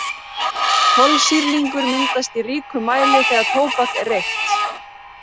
Kolsýrlingur myndast í ríkum mæli þegar tóbak er reykt.